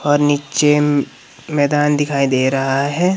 और नीचे मैदान दिखाई दे रहा हैं।